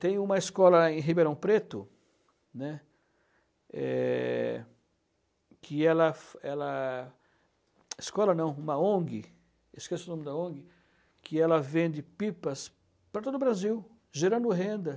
Tem uma escola em Ribeirão Preto, né, que ela ela... Escola não, uma ONG, esqueço o nome da ONG, que ela vende pipas para todo o Brasil, gerando renda.